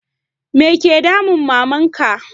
Me ya ke damun Maman ka?